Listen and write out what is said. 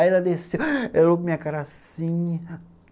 Aí ela desceu, ela olhou para a minha cara assim.